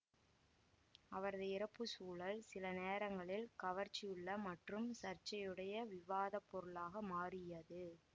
அவரது இறப்பு சூழல் சில நேரங்களில் கவர்ச்சியுள்ள மற்றும் சர்ச்சையுடைய விவாதப் பொருளாக மாறியது